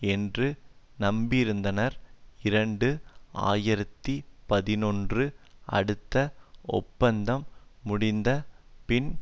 என்று நம்பியிருந்தனர் இரண்டு ஆயிரத்தி பதினொன்று அடுத்த ஒப்பந்தம் முடிந்த பின்